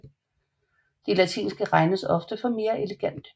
De latinske regnes ofte for mere elegante